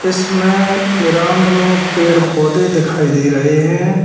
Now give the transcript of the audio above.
इसमें ग्राउंड में पेड़ पौधे दिखाई दे रहे है।